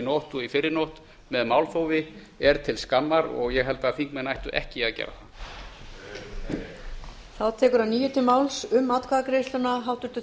nótt og í fyrrinótt með málþófi er til skammar og ég held að þingmenn ættu ekki að gera það